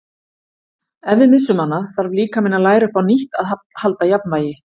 Ef við missum hana þarf líkaminn að læra upp á nýtt að halda jafnvægi.